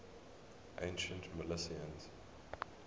ancient milesians